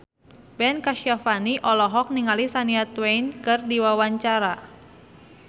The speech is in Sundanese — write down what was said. Ben Kasyafani olohok ningali Shania Twain keur diwawancara